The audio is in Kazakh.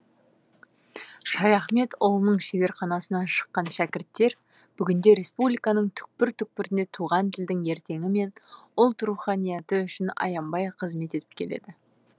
шаяхметұлының шеберханасынан шыққан шәкірттер бүгінде республиканың түкпір түкпірінде туған тілдің ертеңі мен ұлт руханияты үшін аянбай қызмет етіп келеді